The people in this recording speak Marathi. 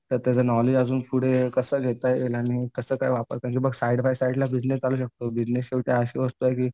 त्यात त्याचं नॉलेज अजून पुढे कसा घेता येईल? आणि कसं काय वापरता येईल? म्हणजे बघ साईड बाय साईडला बिजनेस चालू शकतो. बिजनेस तर अशी वस्तू आहे की